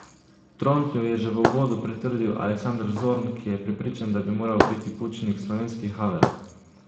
Trontlju je že v uvodu pritrdil Aleksander Zorn, ki je prepričan, da bi moral biti Pučnik slovenski Havel.